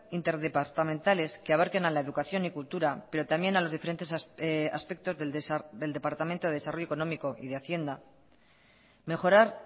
interdepartamentales que abarquen a la educación y cultura pero también a los diferentes aspectos del departamento de desarrollo económico y de hacienda mejorar